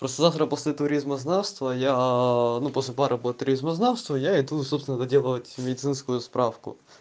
просто завтра после туризма знавства а я ну после пар по туризма знавства я иду собственно доделывать медицинскую справку